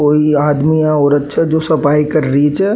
कोई आदमी या औरत छे जो सफाई कर रही छे।